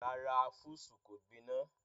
Rárá, fúùsù kò gbiná.